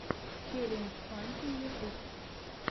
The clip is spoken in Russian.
челлендж фантим ютьюб